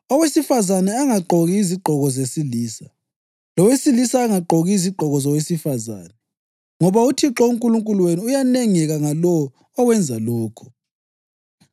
Owesifazane angagqoki izigqoko zesilisa, lowesilisa angagqoki izigqoko zowesifazane, ngoba uThixo uNkulunkulu wenu uyanengeka ngalowo owenza lokho.